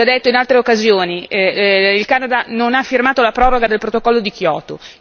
Ho già detto in altre occasioni che il Canada non ha firmato la proroga del protocollo di Kyoto.